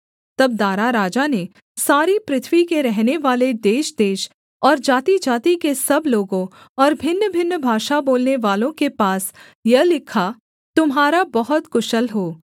तब दारा राजा ने सारी पृथ्वी के रहनेवाले देशदेश और जातिजाति के सब लोगों और भिन्नभिन्न भाषा बोलनेवालों के पास यह लिखा तुम्हारा बहुत कुशल हो